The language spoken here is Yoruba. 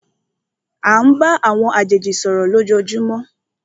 À ń bá àwọn àjèjì sọ̀rọ̀ lójoojúmó.